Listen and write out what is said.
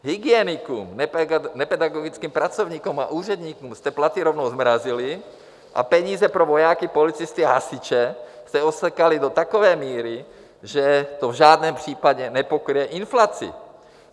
Hygienikům, nepedagogickým pracovníkům a úředníkům jste platy rovnou zmrazili a peníze pro vojáky, policisty a hasiče jste osekali do takové míry, že to v žádném případě nepokryje inflaci.